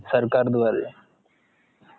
सरकारद्वारे